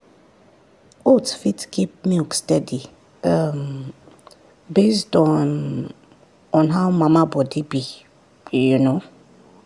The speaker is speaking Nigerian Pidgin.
oats fit keep milk steady um based on on how mama body be you know